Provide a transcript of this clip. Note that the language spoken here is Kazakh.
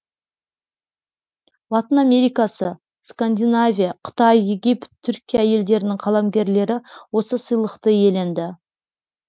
латын америкасы скандинавия қытай египет түркия елдерінің қаламгерлері осы сыйлықты иеленді